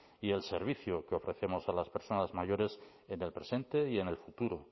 y el servicio que ofrecemos a las personas mayores en el presente y en el futuro